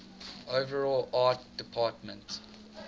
overall art department